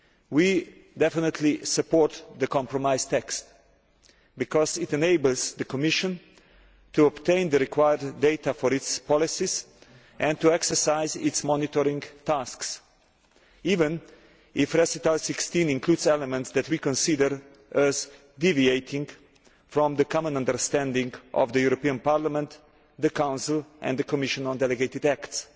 We definitely support the compromise text, because it enables the Commission to obtain the required data for its policies and to exercise its monitoring tasks, even if Recital 16 includes elements that we consider as deviating from the common understanding of the European Parliament, the Council and the Commission on delegated acts.